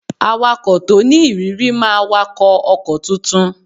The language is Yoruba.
Awakọ̀ to ni ìrírí máa wakọ̀ ọkọ̀ tuntun